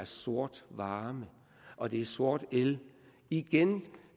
sort varme og det er sort el igen